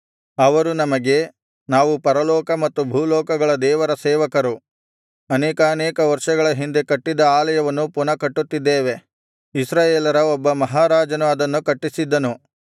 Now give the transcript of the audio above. ಅವರು ನಮಗೆ ನಾವು ಪರಲೋಕ ಮತ್ತು ಭೂಲೋಕಗಳ ದೇವರ ಸೇವಕರು ಅನೇಕಾನೇಕ ವರ್ಷಗಳ ಹಿಂದೆ ಕಟ್ಟಿದ್ದ ಆಲಯವನ್ನು ಪುನಃ ಕಟ್ಟುತ್ತಿದ್ದೇವೆ ಇಸ್ರಾಯೇಲರ ಒಬ್ಬ ಮಹಾರಾಜನು ಅದನ್ನು ಕಟ್ಟಿಸಿದ್ದನು